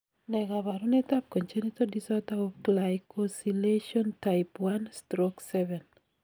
Ne kaabarunetap Congenital disorder of glycosylation type I/IIX?